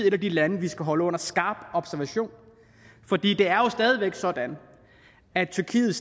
et af de lande vi skal holde under skarp observation for det det er jo stadig væk sådan at tyrkiet